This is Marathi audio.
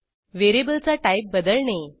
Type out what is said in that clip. व्हेरिएबलचा टाईप बदलणे